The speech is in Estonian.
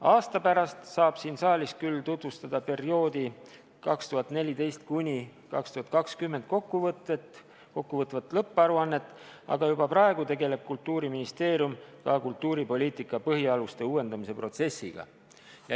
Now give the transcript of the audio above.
Aasta pärast saab siin saalis küll tutvustada perioodi 2014–2020 kokkuvõtvat lõpparuannet, aga juba praegu tegeleb Kultuuriministeerium ka kultuuripoliitika põhialuste uuendamise protsessiga.